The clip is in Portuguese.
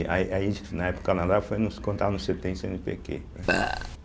E aí, aí na época do Canadá, foi mais quando estava no cêtem e cêenepêquê, né